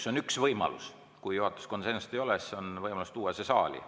See on üks võimalus, et kui juhatuses konsensust ei ole, siis saab tuua selle siia saali.